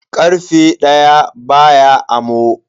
Karfe daya baya amo.